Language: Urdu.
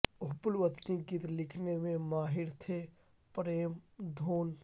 حب الوطنی کے گیت لکھنے میں ماہر تھے پریم دھون